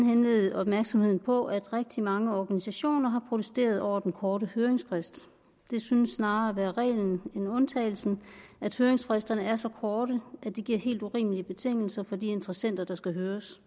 henlede opmærksomheden på at rigtig mange organisationer har protesteret over den korte høringsfrist det synes snarere at være reglen end undtagelsen at høringsfristerne er så korte at det giver helt urimelige betingelser for de interessenter der skal høres